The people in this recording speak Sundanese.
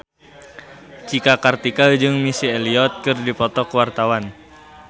Cika Kartika jeung Missy Elliott keur dipoto ku wartawan